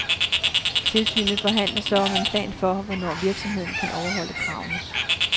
Tilsynet forhandler så om en plan for, hvornår virksomheden kan overholde kravene.